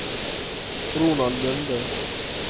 Ronald Lunde